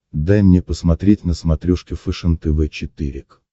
дай мне посмотреть на смотрешке фэшен тв четыре к